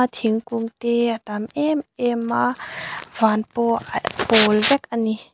thingkung te a tam em em a van pawh a pawl vek a ni.